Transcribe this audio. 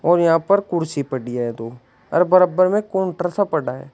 और यहां पर कुर्सी पड़ी है दो और बराबर में काउंटर सा पड़ा है।